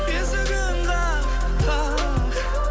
есігін қақ қақ